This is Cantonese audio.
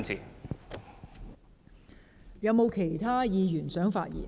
是否有其他議員想發言？